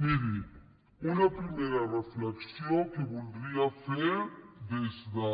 miri una primera reflexió que voldria fer des de